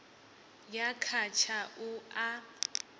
ya kha tsha u a